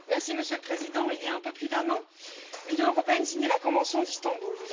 Monsieur le Président, il y a un peu plus d'un an, l'Union européenne signait la convention d'Istanbul.